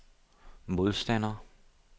modstander